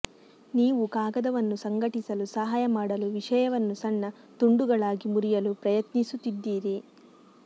ನೀವು ಕಾಗದವನ್ನು ಸಂಘಟಿಸಲು ಸಹಾಯ ಮಾಡಲು ವಿಷಯವನ್ನು ಸಣ್ಣ ತುಂಡುಗಳಾಗಿ ಮುರಿಯಲು ಪ್ರಯತ್ನಿಸುತ್ತಿದ್ದೀರಿ